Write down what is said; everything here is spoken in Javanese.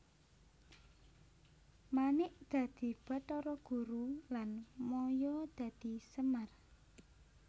Manik dadi Bathara Guru lan Maya dadi Semar